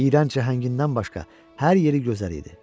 İyrənc cəhəngindən başqa hər yeri gözəl idi.